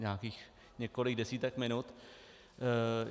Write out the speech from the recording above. Nějakých několik desítek minut.